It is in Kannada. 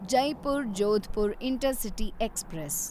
Jaipur Jodhpur intercity express